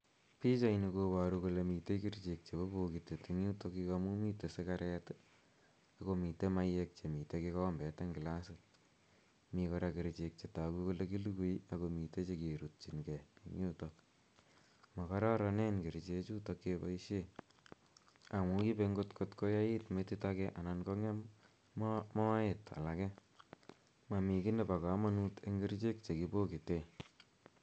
Pichaini koparu kole mitei kerichek chepo pokitet eng' yutokyu amu mitei sigaret i, ako mitei mayek che mitei kikombet eng' glasit. Mi kora kerichek che tagu kole kilugui ako mitei che kerutchin gei eng' yutok. Makararanen kerichechutok kepaishe amu ipe akot kot koyait metit age anan kong'em moet alake. Mami ki nepo kamanut eng' kerichek che kipokite.